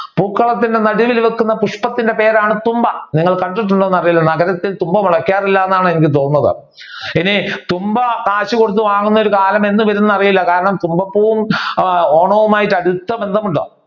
പൂക്കളത്തിന്റെ നടുവിൽ നിൽക്കുന്ന പുഷ്പത്തിന്റെ പേരാണ് തുമ്പ. നിങ്ങൾ കണ്ടിട്ടുണ്ടോ എന്ന് അറിയില്ല. നഗരത്തിൽ തുമ്പ മോളാകാറില്ലെന്നാണ് എനിക്ക് തോന്നുന്നത്. ഇനി തുമ്പ കാശ് കൊടുത്തു വാങ്ങുന്ന കാലം എന്നവരുംമെന്ന് അറിയിലുള്ള കാരണം തുമ്പപ്പൂവും ആഹ് ഓണവുമായി അടുത്ത ബന്ധമുണ്ട്.